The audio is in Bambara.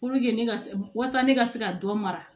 ne ka se wasa ne ka se ka dɔ mara